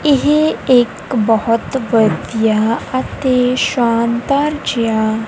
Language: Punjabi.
ਇਹ ਇੱਕ ਬਹੁਤ ਵਧੀਆ ਅਤੇ ਸ਼ਾਨਦਾਰ ਜਿਆ--